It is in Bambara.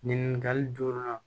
Nin ɲininkali joona